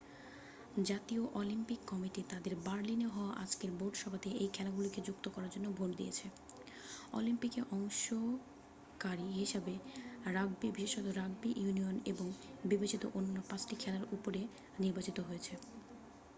জাতীয় Olympic committee তাদের বার্লিনে হওয়া আজকের বোর্ড সভাতে এই খেলাগুলিকে যুক্ত করার জন্য ভোট দিয়েছে অলিম্পিকে অংশকারি হিসাবে রাগবি বিশেষত রাগবি ইউনিয়ন এবং বিবেচিত অন্যান্য পাঁচটি খেলার ওপরে নির্বাচিত হয়েছে